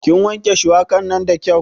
Ki wanke shuwaka nan da kyau